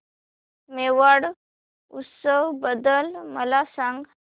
मेवाड उत्सव बद्दल मला सांग